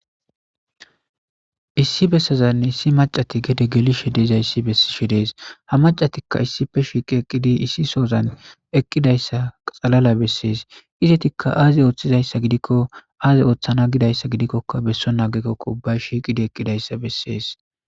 Issi bessazanne issi macati gede gelishe dezayssi bessi she dees ha macatikka issipe shiiqi eqqidi issi soozan eqqidayssa xalala bessees izetikka aaze ooththizayssa gidikko aaze ooththana gidayssa gidikkoka besso aagekokko ubbay shiiqidi eqqidayssa bessees.